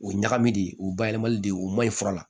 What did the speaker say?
O ye ɲagami de ye o bayɛlɛmali de o man ɲi fura la